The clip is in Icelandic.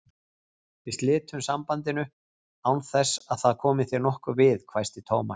Við slitum sambandinu, án þess að það komi þér nokkuð við, hvæsti Thomas.